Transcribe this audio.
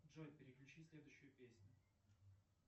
джой переключи следующую песню